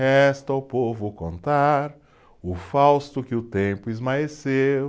Resta ao povo contar o fausto que o tempo esmaeceu.